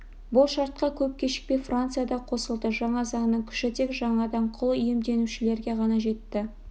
бұл шартқа көп кешікпей франция да қосылды жаңа заңның күші тек жаңадан құл иемденушілерге ғана жетті